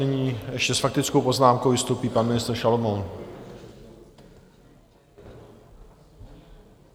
Nyní ještě s faktickou poznámkou vystoupí pan ministr Šalomoun.